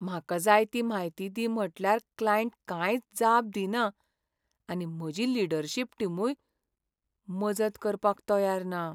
म्हाका जाय ती म्हायती दी म्हटल्यार क्लायंट कांयच जाप दिना आनी म्हजी लीडरशिप टीमूय मजत करपाक तयार ना.